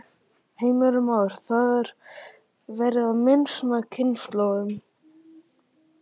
Heimir Már: Það er verið að mismuna kynslóðunum?